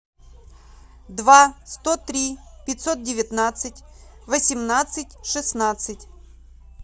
два сто три пятьсот девятнадцать восемнадцать шестнадцать